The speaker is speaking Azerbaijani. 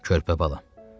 Körpə balam.